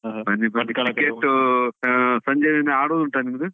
lang:Foreign Cricket lang:Foreign ಉ ಆಹ್ ಸಂಜೆಯೂ ಆಡುದು ಉಂಟಾ ನಿಮ್ದು?